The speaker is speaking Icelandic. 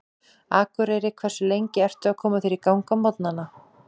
Akureyri Hversu lengi ertu að koma þér í gang á morgnanna?